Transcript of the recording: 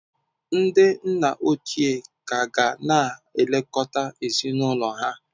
Ndị nna ochie ka ga na-elekọta ezinụlọ ha.